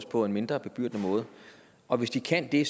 på en mindre bebyrdende måde og hvis det kan det